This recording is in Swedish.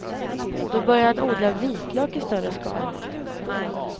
Då började han odla vitlök i större skala.